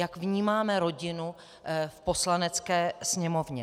Jak vnímáme rodinu v Poslanecké sněmovně.